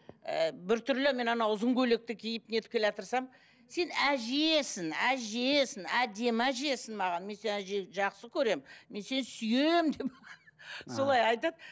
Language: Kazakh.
ы бір түрлі мен анау ұзын көйлекті киіп не етіп келеатырсам сен әжесің әжесің әдемі әжесің маған мен сені әже жақсы көремін мен сені сүйемін деп солай айтады